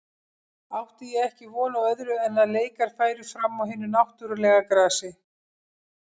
Átti ég ekki von á öðru en að leikar færu fram á hinu náttúrulega grasi.